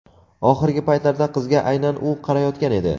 Oxirgi paytlarda qizga aynan u qarayotgan edi.